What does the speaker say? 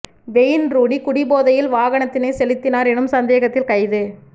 vein Rooney குடிபோதையில் வாகனத்தினை செலுத்தினார் எனும் சந்தேகத்தில் கைது